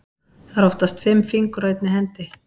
Það eru oftast fimm fingur á einni hendi.